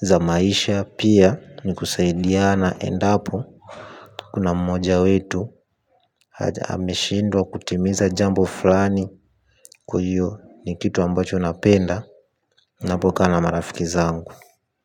zamaisha, pia ni kusaidiana endapo kuna mmoja wetu haja ameshindwa kutimiza jambo fulani kwa iyo ni kitu ambacho napenda napokaa na marafiki zangu.